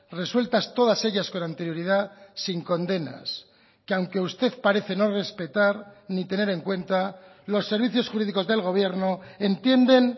resueltas todas ellas con anterioridad sin condenas que aunque usted parece no respetar ni tener en cuenta los servicios jurídicos del gobierno entienden